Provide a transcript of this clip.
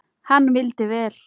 Hann vildi vel.